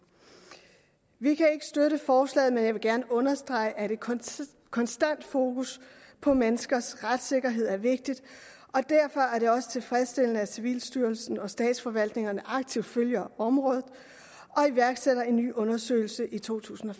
vi kan ikke støtte forslaget men jeg vil gerne understrege at et konstant konstant fokus på menneskers retssikkerhed er vigtigt og derfor er det også tilfredsstillende at civilstyrelsen og statsforvaltningerne aktivt følger området og iværksætter en ny undersøgelse i to tusind og